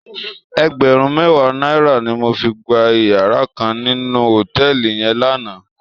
Ègbèrùn mèwá nàirá ni mó fi gbá iyàrá kán ninú hótèlí yèn làná